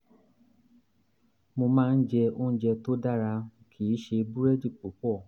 mo máa ń jẹ oúnjẹ tó dára kì í ṣe búrẹ́dì púpọ̀